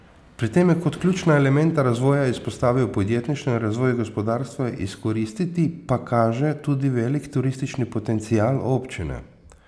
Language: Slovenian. Pri tem je kot ključna elementa razvoja izpostavil podjetništvo in razvoj gospodarstva, izkoristiti pa kaže tudi velik turistični potencial občine.